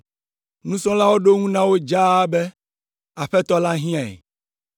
Nusrɔ̃lawo ɖo eŋu na wo dzaa be, “Aƒetɔ la hiãe.”